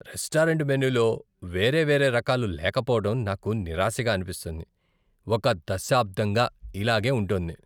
Restaurant మెనూలో వేరేవేరే రకాలు లేకపోవడం నాకు నిరాశగా అనిపిస్తోంది, ఒక దశాబ్దంగా ఇలాగే ఉంటోంది.